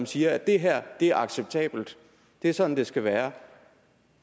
siger det her er acceptabelt det er sådan det skal være